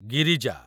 Girija